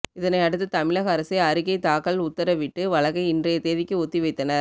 இதனையடுத்து தமிழக அரசை அறிக்கை தாக்கல் உத்தரவிட்டு வழக்கை இன்றைய தேதிக்கு ஒத்திவைத்தனர்